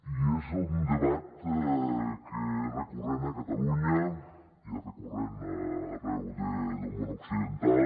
i és un debat que és recurrent a catalunya i és recurrent arreu del món occidental